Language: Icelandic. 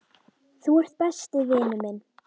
Þú ert besti vinur minn.